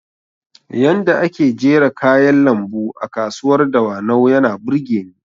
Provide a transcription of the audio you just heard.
Yanda ake jera kayan lambu a kasuwar dawanau yana burgeni